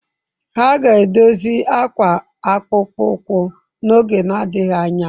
Ha ga-edozi akwa akpụkpọ ụkwụ n'oge na-adịghị anya.